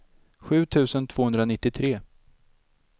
sju tusen tvåhundranittiotre